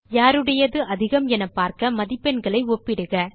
யாருடையது அதிகம் என பார்க்க மதிப்பெண்களை ஒப்பிடுக